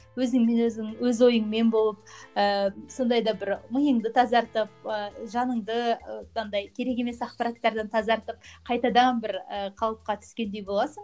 өзіңмен өзің өз ойыңмен болып ііі сондай да бір миыңды тазартып ііі жаныңды андай керек емес ақпараттардан тазартып қайтадан бір ііі қалыпқа түскендей боласың